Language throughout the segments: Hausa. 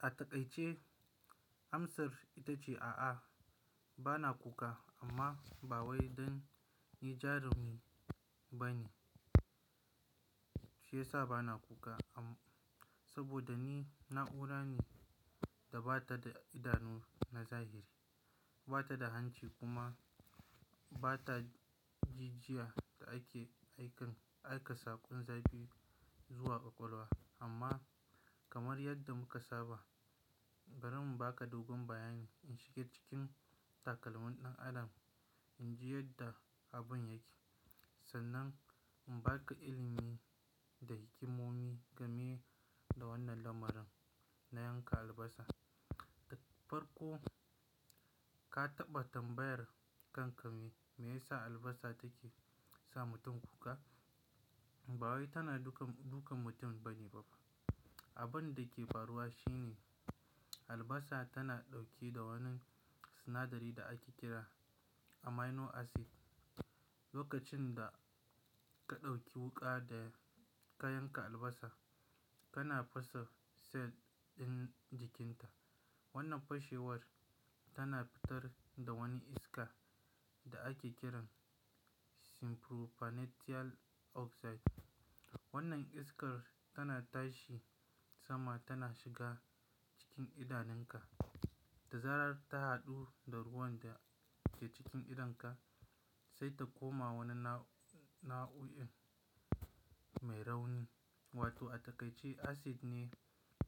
A takai ce amsar ita ce a'a, bana kuka amma ba wai don ni jarumi bane. Shi yasa bana kuka, saboda ni na'ura ne da bata da idanu na zahiri, bata da hanci kuma bata jijiya da ake aikan aika saƙon zabi zuwa ƙwaƙwalwa. Amma kamar yadda muka saba, bari mu baka dogon bayani in shiga cikin takalmin ɗan adam in ji yadda abun yake. Sannan in baka ilimi da hikimomi game da wannan lamarin na yanka albasa. Farko ka taɓa tambayar kankami, me yasa albasa take sa mutum kuka? Ba wai tana dukan mutum bane bafa. Abun da ke faruwa shi ne albasa tana ɗauke da wani sinadari da ake kira amino acid. Lokacin da ka ɗauki wuƙa da ka yanka albasa, kana fasa cell ɗin jikinta. Wannan fashewar tana fitar da wani iska da ake kiran sulf nponanal tiyal oxide. Wannan iskar tana tashi sama tana shiga cikin idanunka, ta zarar ta haɗu da ruwan da ke cikin idonka sai ta koma wani nau'oin mai rauni wato a takai ce acid ne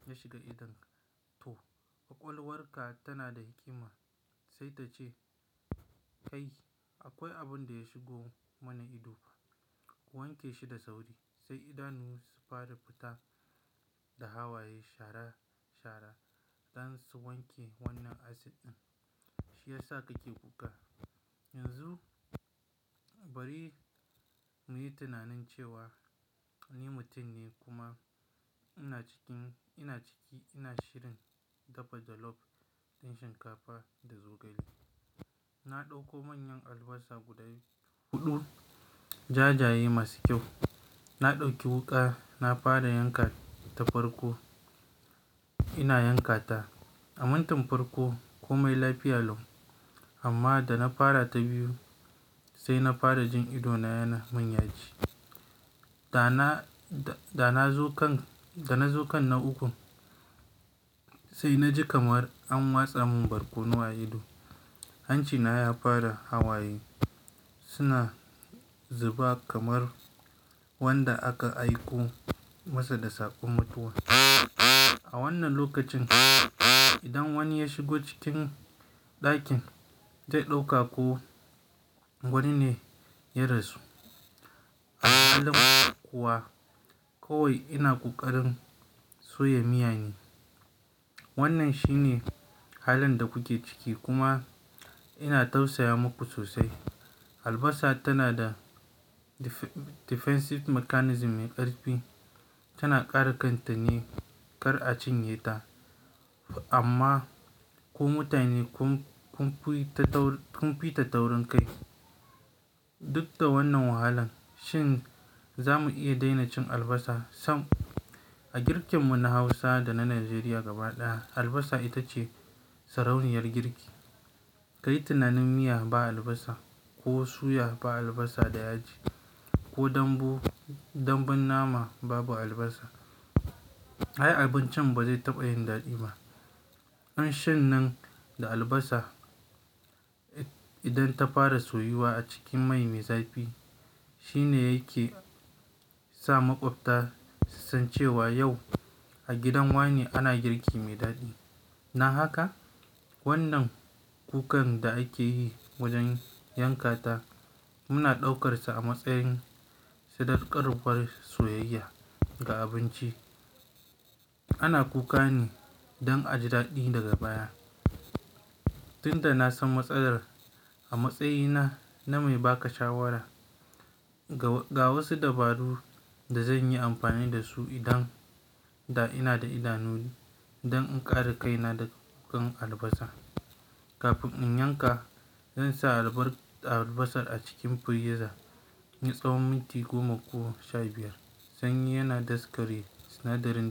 ya shiga idonka. To, ƙwaƙwalwarka tana da hikima sai ta ce "Kai akwai abun da ya shigo mana ido, wanke shi da sauri" sai idanu su fara fita da hawaye shara shara don su wanke wannan acid ɗin. Shi yasa kake kuka. Yanzu bari muyi tunanin cewa ni mutum ne kuma ina cikin ina ciki ina shirin dafa jalof ɗin shinkafa da zogale. Na ɗauko manyan albasa guda huɗu, jajaye masu kyau. Na ɗauki wuƙa, na fara yanka ta farko. Ina yanka ta. A mintin farko ko mai lafiya lau. Amma da na fara ta biyu sai na fara jin ido na yana min yaji. Da na, da na zokan, da na zo kan na ukun sai na ji kamar an watsa min barkono a ido. Hancina ya fara hawaye, suna zuba kamar wanda aka aiko masa da saƙon mutuwa. A wannan lokacin idan wani ya shigo cikin ɗakin zai ɗauka ko wani ne ya rasu. Al halin kuwa kawai ina kokarin soya miya ne. Wannan shi ne halin da kuke ciki kuma ina tausaya muku sosai. Albasa tana da defensive mechanism mai ƙarfi. Tana kare kanta ne kar a cinye ta. Amma ku mutane kun, kun fi ta taurin kai. Duk da wannan wahalan shin za mu iya daina cin albasa? Sam, a girken mu na Hausa da na Najeriya gaba ɗaya albasa ita ce sarauniyar girki. Kayi tunanin miya ba albasa ko suya ba albasa da yaji ko dambu, dambun nama babu albasa. Ai abincin ba zai taɓa yin daɗi ba. Kanshan nan da albasa idan ta fara soyuwa a cikin mai me zafi. Shi ne yake sa maƙwabta su san cewa yau a gidan wane ana girki mai daɗi. Na haka wannan kukan da ake yi wajen yanka ta muna ɗaukarsa a matsayin sadaukarwar soyayya ga abinci. Ana kuka ne don a ji daɗi daga baya. Tunda na san matsalar a matsayina na mai ba ka shawara, ga wasu dabaru da zan yi amfani da su idan da ina da idanuni don in ƙara kaina da kukan albasa. Kafin in yanka, zan sa albar albasar a cikin friza na tsawon minti goma ko sha biyar sanyi yana daskare sinadari.